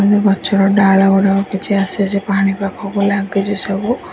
ଗଛର ଡାଳ ଗୁଡ଼ାକ କଛି ଆସିଚି ପାଣି ପାଖକୁ ଲାଗିଚି ସବୁ।